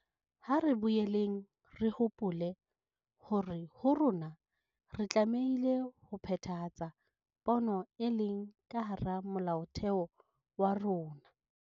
Ha re boeleng re hopole hore ho rona re tlameile ho phethahatsa pono e leng ka hara Molaotheo wa rona.